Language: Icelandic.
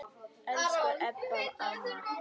Elsku Ebba amma.